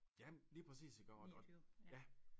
Jamen lige præcis iggår og og ja